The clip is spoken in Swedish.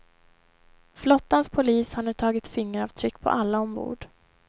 Flottans polis har nu tagit fingeravtryck på alla ombord.